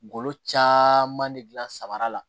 Ngolo caman de gilan samara la